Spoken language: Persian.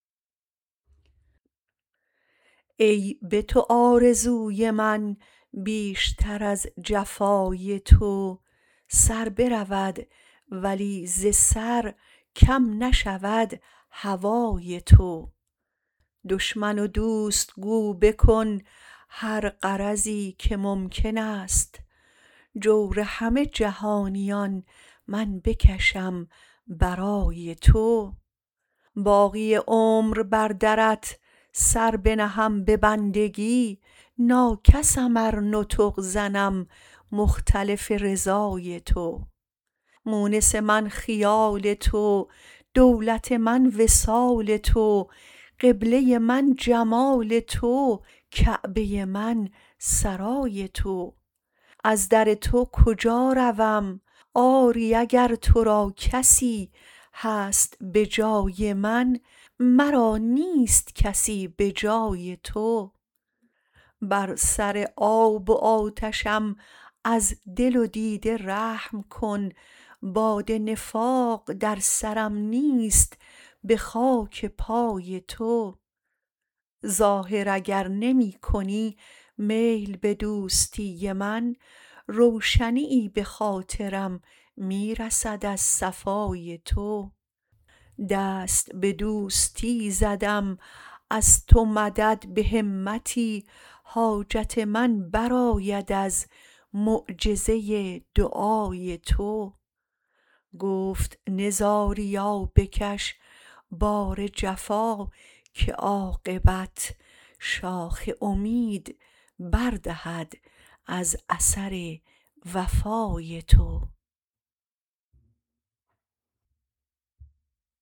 ای به تو آرزوی من بیش تر از جفای تو سر برود ولی ز سر کم نشود هوای تو دشمن و دوست گو بکن هر غرضی که ممکن است جور همه جهانیان من بکشم برای تو باقی عمر بر درت سر بنهم به بندگی نا کسم ار نطق زنم مختلف رضای تو مونس من خیال تو دولت من وصال تو قبلۀ من جمال تو کعبۀ من سرای تو از در تو کجا روم آری اگر ترا کسی هست به جای من مرا نیست کسی به جای تو بر سر آب و آتشم از دل و دیده رحم کن باد نفاق در سرم نیست به خاک پای تو ظاهر اگر نمی کنی میل به دوستی من روشنیی به خاطرم می رسد از صفای تو دست به دوستی زدم از تو مدد به همتی حاجت من برآید از معجزۀ دعای تو گفت نزاریا بکش بار جفا که عاقبت شاخ امید بر دهد از اثر وفای تو